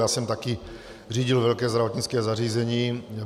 Já jsem také řídil velké zdravotnické zařízení.